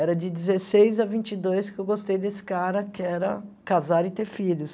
Era de dezesseis a vinte e dois que eu gostei desse cara, que era casar e ter filhos.